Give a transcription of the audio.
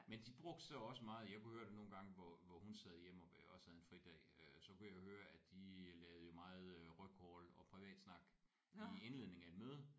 Men de brugte så også meget jeg kunne høre det nogle gange hvor hvor hun sad hjemme og også havde en fridag øh så kunne jeg høre at de lavede jo meget øh rygcrawl og privatsnak i indledningen af et møde